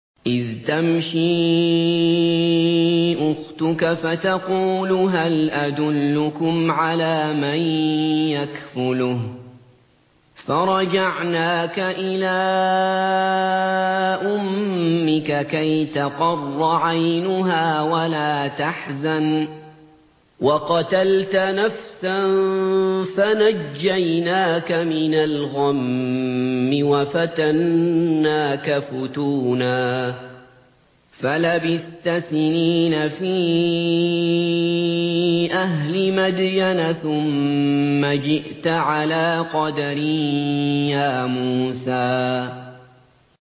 إِذْ تَمْشِي أُخْتُكَ فَتَقُولُ هَلْ أَدُلُّكُمْ عَلَىٰ مَن يَكْفُلُهُ ۖ فَرَجَعْنَاكَ إِلَىٰ أُمِّكَ كَيْ تَقَرَّ عَيْنُهَا وَلَا تَحْزَنَ ۚ وَقَتَلْتَ نَفْسًا فَنَجَّيْنَاكَ مِنَ الْغَمِّ وَفَتَنَّاكَ فُتُونًا ۚ فَلَبِثْتَ سِنِينَ فِي أَهْلِ مَدْيَنَ ثُمَّ جِئْتَ عَلَىٰ قَدَرٍ يَا مُوسَىٰ